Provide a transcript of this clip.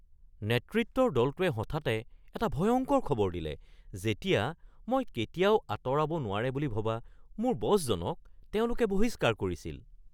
নেতৃত্বৰ দলটোৱে হঠাতে এটা ভয়ংকৰ খবৰ দিলে যেতিয়া মই কেতিয়াও আঁতৰাব নোৱাৰে বুলি ভবা মোৰ বছজনক তেওঁলোকে বহিস্কাৰ কৰিছিল।